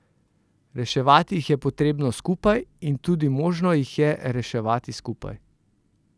Reševati jih je potrebno skupaj in tudi možno jih je reševati skupaj.